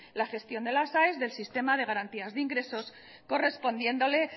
la gestión de las aes del sistema de garantías de ingresos correspondiéndole